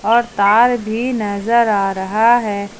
और तार भी नजर आ रहा है।